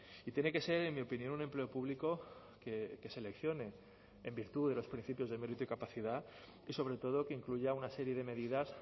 y tiene que ser en mi opinión un empleo público que seleccione en virtud de los principios de mérito y capacidad y sobre todo que incluya una serie de medidas